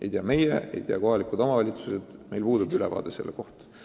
Ei tea meie, ei tea kohalikud omavalitsused – meil puudub sellest ülevaade.